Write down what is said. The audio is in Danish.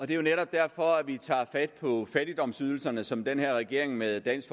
det er netop derfor at vi tager fat på fattigdomsydelserne som den her regering med dansk